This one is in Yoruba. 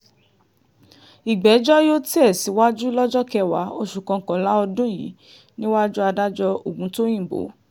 ìgbẹ́jọ́ yóò tẹ̀ síwájú lọ́jọ́ kẹwàá oṣù kọkànlá ọdún yìí níwájú adájọ́ ògùntóyìnbó